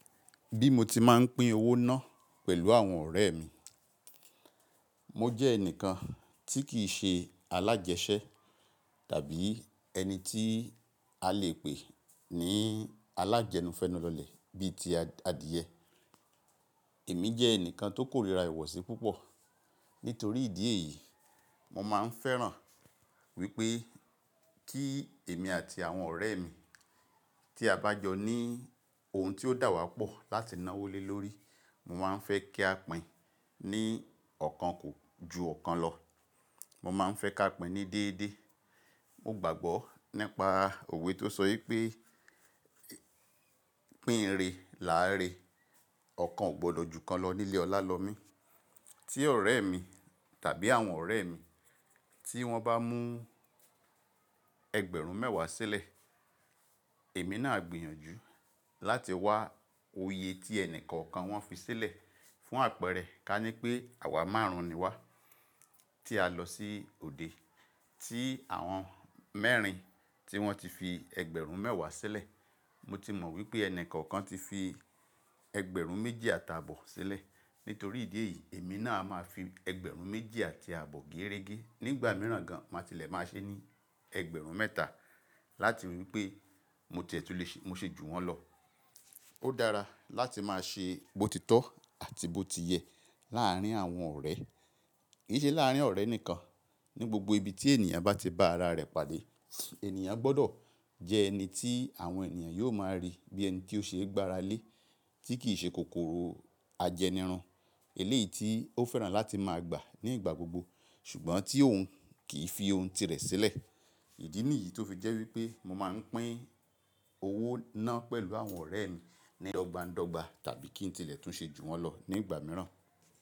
Bí mo ti máa ń pín owó náà pẹ̀lú àwọn ọ̀rẹ́ mi, mo jẹ́ ẹnìkan tí kì í ṣe alájẹṣẹ́ tàbí ẹni tí a lè pè ní alájẹnu fẹ́nù lọlẹ̀ bí i ti adìyẹ. Èmi jẹ́ ẹnìkan tó kórìíra ìwọ̀sí púpọ̀. Nítorí ìdí èyí, mo máa ń fẹ́ràn wípé kí èmi àti àwọn ọ̀rẹ́ mi tí a bá jọ ní ohun tí ó dà wá pọ̀ láti ná wólé lórí, mo máa ń fẹ́ kí a pìn-ìn ní ọ̀kan kò ju ọ̀kan lọ. Mo máa ń fẹ́ ká pìn ní déédéé. Mo gbàgbọ́ nípa òwe tó sọ wípé "Pín re, là á re. Ọ̀kan ò gbọdọ̀ ju kan lọ nílé Ọlálọmí." Tí ọ̀rẹ́ mi tàbí àwọn ọ̀rẹ́ mi tí wọ́n bá mú ẹgbẹ̀rún mẹ́wàá sílẹ̀, èmi náà a gbìyànjú láti wá oyè tí ẹnì kọ̀ọ̀kan wọ́n fi sílẹ̀ fún àpẹẹrẹ ká ní pé àwa márùn-ún ni wá tí a lọ sí òde. Tí àwọn mẹ́rin tí wọ́n ti fi ẹgbẹ̀rún mẹ́wàá sílẹ̀, mo ti mọ̀ wípé ẹnì kọ̀ọ̀kan ti fi ẹgbẹ̀rún méjì àti àbọ̀ sílẹ̀. Nítorí ìdí èyí, èmi náà a máa fi ẹgbẹ̀rún méjì àti àbọ̀ géérégé. Nígbà mìíràn gan, màá tilẹ̀ máa ṣe ní ẹgbẹ̀rún mẹ́ta láti rí wípé mo tiẹ̀ túle, mo ṣe ju wọ́n lọ. Ó dára láti máa ṣe bòtítọ́ àti bòtiyẹ̀ láàárín àwọn ọ̀rẹ́, kì í ṣe láàárín ọ̀rẹ́ nìkan. Ni gbogbo ibi tí ènìyàn bá ti ba ara rẹ̀ pàdé, ènìyàn gbọ́dọ̀ jẹ ẹni tí àwọn ènìyàn yóò máa rí bí ẹni tí ó ṣe é gbára lé, tí kì í ṣe kòkòrò ajẹnirun. Èlé yìí tí ó fẹ́ràn láti máa gbà ní igbà gbogbo. Ṣùgbọ́n tí òun kì í fi ohun tirẹ̀ sílẹ̀. Ìdí nìyí tó fi jẹ́ wípé mo máa ń pín owó náà pẹ̀lú àwọn ọ̀rẹ́ mi dọ́gbań-dọ́gba tàbí kí n tilẹ̀ tún ṣe ju wọ́n lọ nígbà mìíràn.